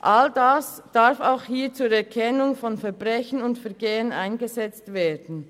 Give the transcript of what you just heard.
All dies darf auch hier zur Erkennung von Verbrechen und Vergehen eingesetzt werden.